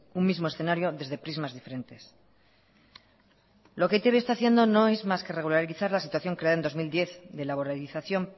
un mismo escenario desde prismas diferentes lo que e i te be está haciendo no es más que regularizar la situación creada en dos mil diez de laboralización